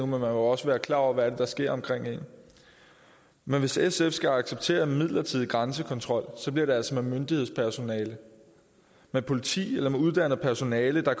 må jo også være klar over hvad det er der sker omkring en men hvis sf skal acceptere midlertidig grænsekontrol bliver det altså med myndighedspersonale med politi eller med uddannet personale der